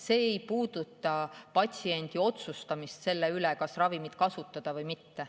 See ei puuduta patsiendi otsust, kas ravimit kasutada või mitte.